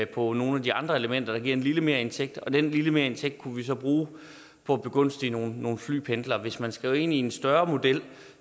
på nogle af de andre elementer der giver en lille merindtægt og den lille merindtægt kunne vi så bruge på at begunstige nogle nogle flypendlere hvis man skal ind i en større model